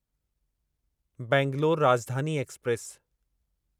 Bangalore Rajdhani express